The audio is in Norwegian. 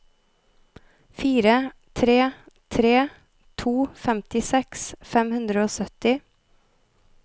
fire tre tre to femtiseks fem hundre og sytti